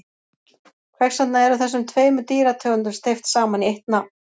Hvers vegna eru þessum tveimur dýrategundum steypt saman í eitt nafn?